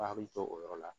A bɛ jɔ o yɔrɔ la